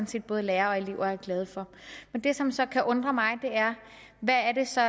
set både lærere og elever er glade for men det som så kan undre mig er hvad er det så